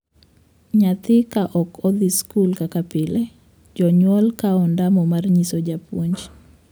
Nyathi ka ok odhi skul kaka pile, jonyuol kawo ondamo mar nyiso japuonj.